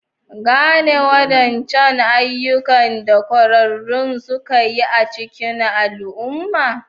Gane wadancan ayyukan da kwararru suka yi a cikin al'umma.